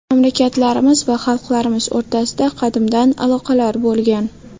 Mamlakatlarimiz va xalqlarimiz o‘rtasida qadimdan aloqalar bo‘lgan.